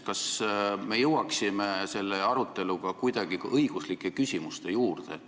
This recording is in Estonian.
Kas me jõuaksime selle aruteluga kuidagi ka õiguslike küsimuste juurde?